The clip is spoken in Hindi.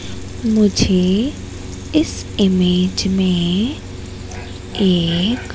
मुझे इस इमेज में एक--